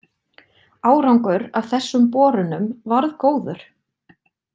Árangur af þessum borunum varð góður.